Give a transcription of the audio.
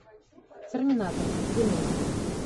терминатор генезис